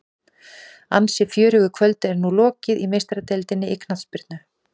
Ansi fjörugu kvöldi er nú lokið í Meistaradeildinni í knattspyrnu.